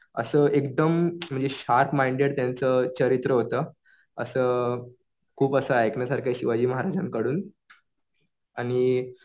असं एकदम म्हणजे शार्प माईंडेड त्यांचं चरित्र होतं. असं खूप असं ऐकण्यासारखं आहे शिवाजी महाराजांकडून. आणि